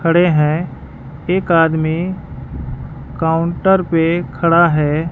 खड़े है एक आदमी काउंटर पे खड़ा है।